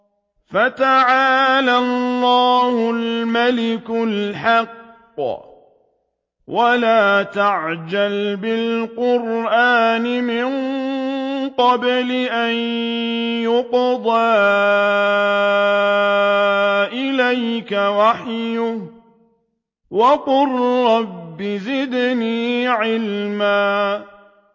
فَتَعَالَى اللَّهُ الْمَلِكُ الْحَقُّ ۗ وَلَا تَعْجَلْ بِالْقُرْآنِ مِن قَبْلِ أَن يُقْضَىٰ إِلَيْكَ وَحْيُهُ ۖ وَقُل رَّبِّ زِدْنِي عِلْمًا